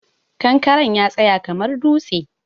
Kankaren ya tsaya kamar dutse.